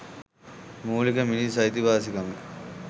මුලික මිනිස් අයිතිවාසිකම